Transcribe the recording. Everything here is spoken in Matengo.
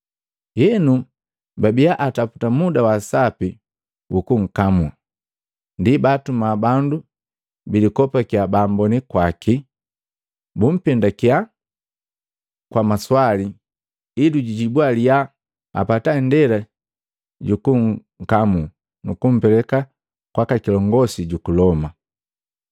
Enu, babiya ataputa muda wa sapi wukunkamu. Ndi baatuma bandu bilikopakya baamboni kwaki, bumpendakiya kwa maswali, ili jujibwa liya apata indela jukunkali nukumpeleka kwaka kilongosi juku Loma.